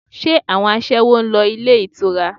Ṣé àwọn aṣẹ́wó ń lọ ilé ìtura?